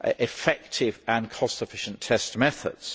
effective and cost efficient test methods.